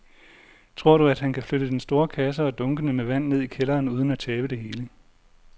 Tror du, at han kan flytte den store kasse og dunkene med vand ned i kælderen uden at tabe det hele?